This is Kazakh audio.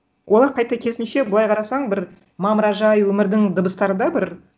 олар қайта керісінше былай қарасаң бір мамыражай өмірдің дыбыстары да бір